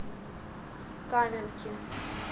каменки